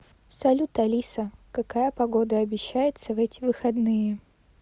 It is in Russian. салют алиса какая погода обещается в эти выходные